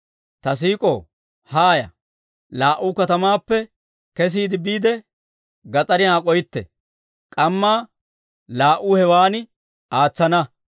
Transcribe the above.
Ta siik'ow, haaya; laa"uu katamaappe kesiide biide, gas'ariyan ak'oytte; k'ammaa laa"uu hewan aatsana.